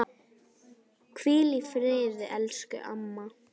Hvíl í friði elsku mamma.